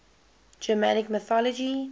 germanic mythology